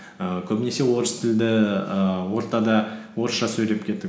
ііі көбінесе орыс тілді ііі ортада орысша сөйлеп кеттік